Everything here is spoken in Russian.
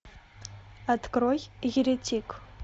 открой еретик